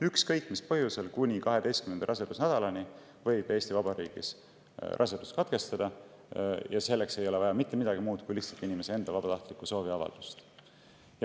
Ükskõik mis põhjusel võib Eesti Vabariigis raseduse katkestada kuni 12. rasedusnädalani ja selleks ei ole vaja mitte midagi muud kui lihtsalt inimese enda vabatahtlikku sooviavaldust.